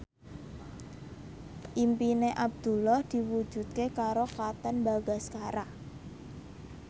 impine Abdullah diwujudke karo Katon Bagaskara